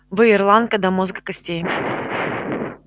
вы ирландка до мозга костей